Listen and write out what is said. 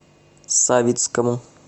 савицкому